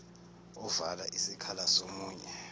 ovala isikhala somunye